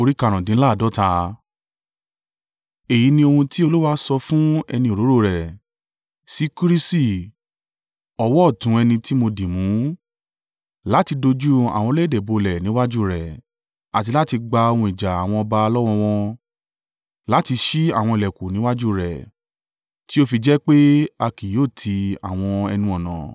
“Èyí ni ohun tí Olúwa sọ fún ẹni òróró rẹ̀, sí Kirusi, ọwọ́ ọ̀tún ẹni tí mo dì mú láti dojú àwọn orílẹ̀-èdè bolẹ̀ níwájú rẹ̀ àti láti gba ohun ìjà àwọn ọba lọ́wọ́ wọn, láti ṣí àwọn ìlẹ̀kùn níwájú rẹ̀ tí ó fi jẹ́ pé a kì yóò ti àwọn ẹnu-ọ̀nà.